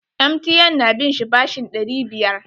MTN na bin shi bashin ɗari biyar.